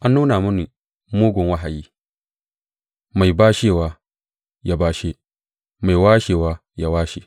An nuna mini mugun wahayi, mai bashewa ya bashe, mai washewa ya washe.